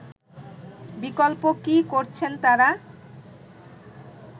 বিকল্প কি করছেন তারা